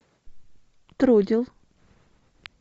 трудел